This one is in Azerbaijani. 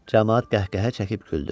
Camaat qəhqəhə çəkib güldü.